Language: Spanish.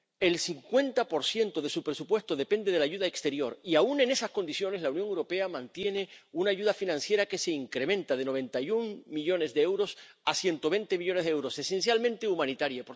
El 50 de su presupuesto depende de la ayuda exterior y, aun en esas condiciones, la Unión Europea mantiene una ayuda financiera que se incrementa de 91 millones de euros a 120 millones de euros, esencialmente humanitaria.